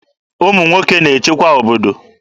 Ụmụ nwoke na-echekwa obodo.